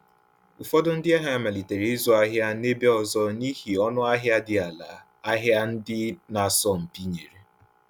Ụfọdụ ndị ahịa malitere ịzụ ahịa n’ebe ọzọ n’ihi ọnụahịa dị ala ahịa ndị na-asọ mpi nyere.